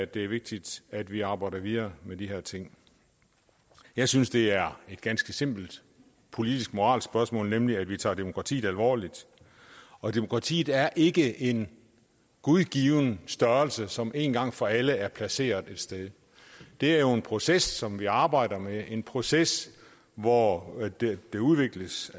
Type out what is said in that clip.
det er vigtigt at vi arbejder videre med de her ting jeg synes det er et ganske simpelt politisk moralsk spørgsmål nemlig at vi tager demokratiet alvorligt demokratiet er ikke en gudgiven størrelse som én gang for alle er placeret et sted det er jo en proces som vi arbejder med en proces hvor det udvikles